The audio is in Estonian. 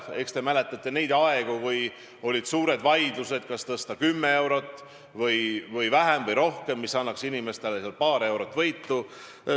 Küllap te mäletate neid aegu, kui olid suured vaidlused, kas tõsta seda 10 eurot või vähem või rohkem, mis annaks inimestele paar eurot võitu.